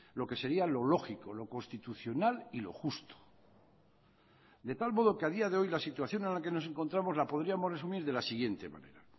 lo que sería lo lógico lo constitucional y lo justo de tal modo que ha día de hoy la situación en la que nos encontramos la podríamos resumir de la siguiente manera